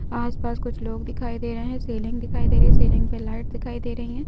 आस पास कुछ लोग दिखाई दे रहे हैं सीलिंग दिखाई दे रहे-- सीलिंग पर लाइट दिखाई दे रहे हैं।